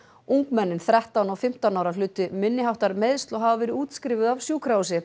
ungmennin þrettán og fimmtán ára hlutu minni háttar meiðsli og hafa verið útskrifuð af sjúkrahúsi